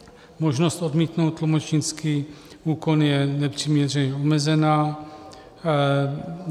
Možnost odmítnout tlumočnický úkon je nepřiměřeně omezena.